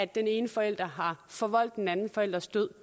den ene forælder har forvoldt den anden forælders død